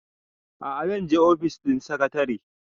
a'a zan je ofis ɗin sakatare